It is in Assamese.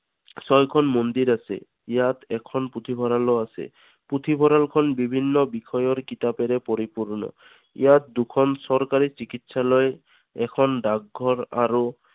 ছয়খন মন্দিৰ আছে ইয়াত এখন পুথিভঁৰালো আছে। পুথিভঁৰাল খন বিভিন্ন বিষয়ৰ কিতাপেৰে পৰিপূৰ্ণ। ইয়াত দুখন চৰকাৰী চিকিৎসালয়, এখন ডাকঘৰ আৰু